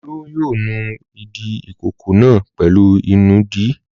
Olú yóò nu ìdí ìkókó náà pẹ̀lú ìnùdí.